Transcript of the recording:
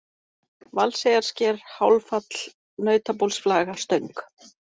Valseyjarsker, Hálffall, Nautabólsflaga, Stöng